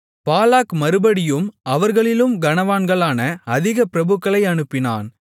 பாலாக் மறுபடியும் அவர்களிலும் கனவான்களான அதிக பிரபுக்களை அனுப்பினான்